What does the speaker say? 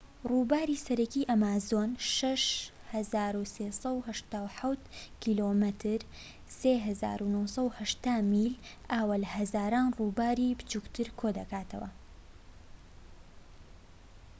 ڕووباری سەرەکی ئەمازۆن 6,387 کم 3,980 میلـە. ئاو لە هەزاران ڕووباری بچووکتر کۆدەکاتەوە